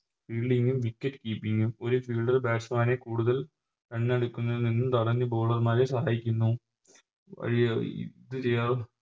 Fielding ഉം Wicket keeping ഉം ഒരു Fielder batsman നെ കൂടുതൽ Run എടുക്കുന്നതിൽ നിന്നും തടഞ്ഞ് Bowler മാരെ സഹായിക്കുന്നു